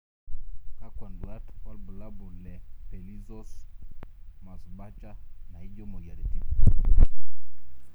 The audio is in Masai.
Kakwa nduat wobulabul le pelizaeus Merzbacher naijo moyiaritin.